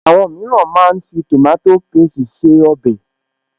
Àwọn mìíràn máa ń fi tòmátò pésti se ọbẹ̀